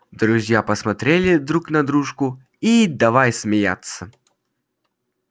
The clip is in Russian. друзья посмотрели друг на дружку и давай смеяться